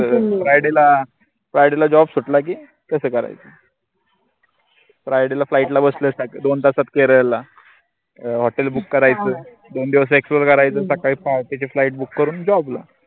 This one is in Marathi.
friday ला friday ला job सुटला की तस करायचं friday ला flight ला बसलं दोन तासात केरळला अं hotel book करायचं दोन दिवस explore करायचं सकाळी पहाटेची flightbook करून job ला